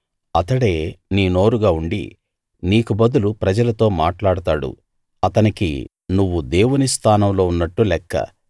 అతడే నీ నోరుగా ఉండి నీకు బదులు ప్రజలతో మాట్లాడతాడు అతనికి నువ్వు దేవుని స్థానంలో ఉన్నట్టు లెక్క